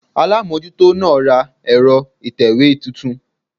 Alámójútó náà ra ẹ̀rọ ìtẹ̀wé titun